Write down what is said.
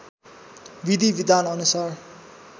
विधी विधान अनुसार